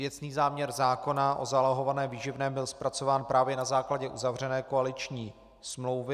Věcný záměr zákona o zálohovaném výživném byl zpracován právě na základě uzavřené koaliční smlouvy.